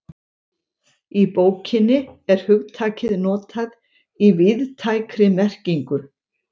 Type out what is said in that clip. Í bókinni er hugtakið notað í víðtækri merkingu.